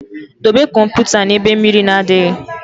Dobe kọmputa na ebe mmiri na adịghị